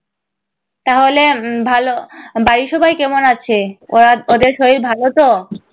তাহলে উম ভাল, বাড়ির সবাই কেমন আছে? ওরা ওদের সবার শরীর ভালো তো?